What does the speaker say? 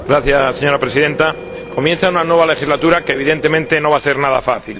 Señora Presidenta, comienza una nueva legislatura que, evidentemente, no va a ser nada fácil.